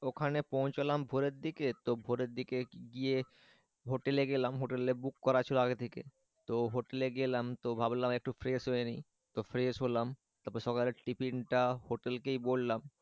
ওখানে পৌছালাম ভোরের দিকে তো ভোরের দিকে গিয়ে হোটেলে গেলাম হোটেলে book করা ছিল আগে থেকে, তো হোটেলে গেলাম তো ভাবলাম একটু fresh হয়েনি তো fresh হলাম। তারপর সকালের টিফিনটা হোটেলকেই বললাম।